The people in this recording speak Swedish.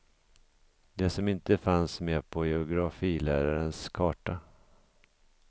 Det som inte fanns med på geografilärarens karta.